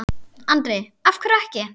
Andri: Af hverju ekki?